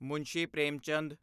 Munshi Premchand